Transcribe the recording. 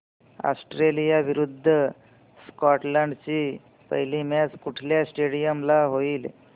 Australia विरुद्ध Scotland ची पहिली मॅच कुठल्या स्टेडीयम ला होईल